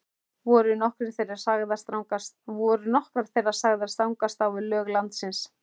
Voru nokkrar þeirra sagðar stangast á við lög landsins.